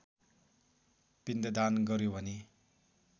पिण्डदान गर्‍यो भने